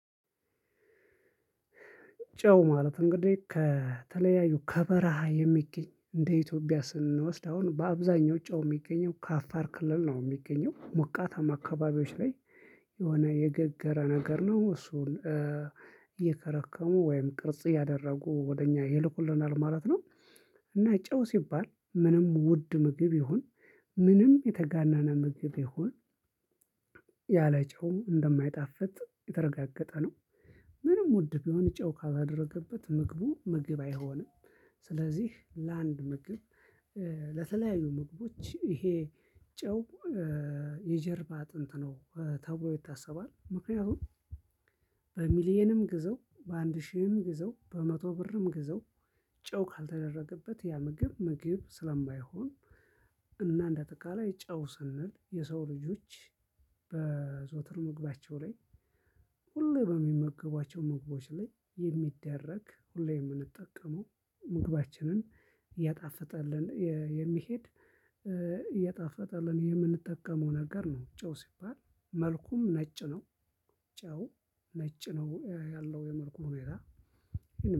ጨው ማለት እንግዲህ ከተለያዩ ከበረሃ የሚገኝ እንደ ኢትዮጵያ ስንወስድ አሁን በአብዛኛው ጨው የሚገኘው ከአፋር ክልል ነው የሚገኘው ሞቃታማ አካባቢዎች ላይ የሆነ የገገረ ነገር ነው እሱን እየከረከሙ ወይም ቅርጽ ያደረጉ ወደ እኛ ይልኩለናል ማለት ነው። እና ጨው ሲባል ምንም ውድ ምግብ ይሁን ምንም የተጋነነ ምብ ይሁን ያለ ጨው እንደማይጣፍጥ የተረጋገጠ ነው። ምንም ውድ ቢሆን ጨው ካላደረገበት ምግቡ ምግብ አይሆንም። ስለዚህ ለአንድ ምግብ ለተለያዩ ምግቦች ይሄ ጨው የጀርባ አጥንት ነው ተብሎ ይታሰባል። ምክንያቱም በሚሊየንም ግዘው፣ በአንድ ሺህም ግዘው፣ በመቶ ብርም ግዘው ጨው ካልተደረገበት ያ ምግብ ምግብ ስለማይሆን። እና እንደ አጠቃላይ ጨው ስንል የሰው ልጆች። በዘወትር ምግባቸው ላይ ሁሌ በሚመግቧቸው ምግቦች ላይ የሚደረግ ሁሌ የምንጠቀመው ምግባችንን እያጣፈጠልን የሚሄድ እየጣፈጠልን የምንጠቀመው ነገር ነው። ጨው ሲባል መልኩም ነጭ ነው። ጨው ነጭ ነው ያለው የመልኩ ሁኔታ